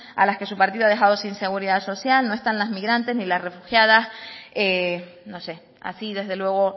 a las que su partido ha dejado sin seguridad social no están las migrantes ni las refugiadas no sé así desde luego